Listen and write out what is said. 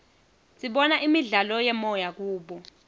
sibona imidlalo yemoya kubo